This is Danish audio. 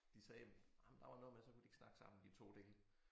De sagde nej men der var noget med så kunne de ikke snakke sammen de 2 dele